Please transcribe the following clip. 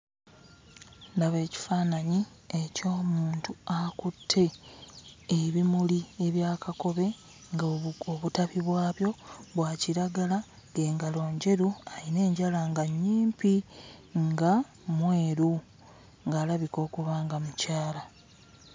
Ndaba ekifaananyi eky'omuntu akutte ebimuli ebya kakobe ng'obutabi bwabyo bwa kiragala ng'engalo njeru. Ayina enjala nga nnyimpi nga mweru, ng'alabika okuba nga mukyala.